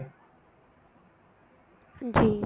ਜੀ